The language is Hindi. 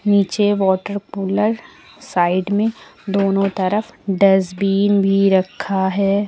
नीचे वॉटर कूलर साइड में दोनों तरफ डस्टबीन भी रखा है।